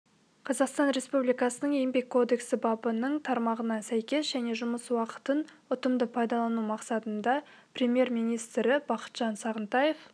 қазақстан республикасының еңбек кодексі бабының тармағына сәйкес және жұмыс уақытын ұтымды пайдалану мақсатында премьер-министрі бақытжан сағынтаев